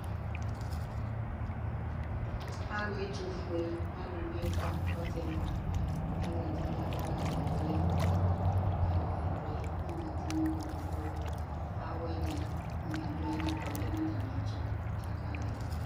alu ɛtufue aluvie ɛfua ɔsi ɛfua azati k'aka ɣa ivli azati nu ikpoku ku awɛ ɖi ivi dua yili kɔ lɛ na ta miɛ tu ka kawa ivli